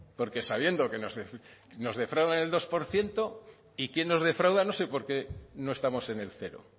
porque sabiendo que nos defraudan el dos por ciento y quién nos defrauda no sé por qué no estamos en el cero